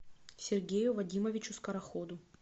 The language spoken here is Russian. сергею вадимовичу скороходу